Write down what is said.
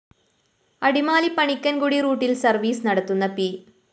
അടിമാലി പണിക്കന്‍കുടി റൂട്ടില്‍ സര്‍വ്വീസ് നടത്തുന്ന പി